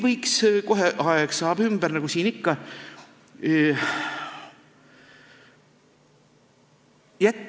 Kohe saab aeg ümber, nagu siin ikka.